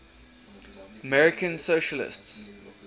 american socialists